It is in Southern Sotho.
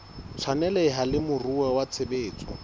tshwaneleha le moruo wa tshebetso